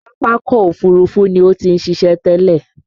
Pápákọ̀ Òfurufú ni ó ti ń ṣiṣẹ́ tẹ́lẹ̀